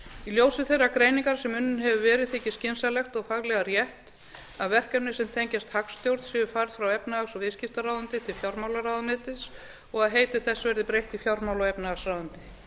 í ljósi þeirrar greiningar sem unnin hefur verið þykir skynsamlegt og faglega rétt að verkefni sem tengjast hagstjórn séu færð frá efnahags og viðskiptaráðuneyti til fjármálaráðuneytis og að heiti þess verði fjármála og efnahagsráðuneyti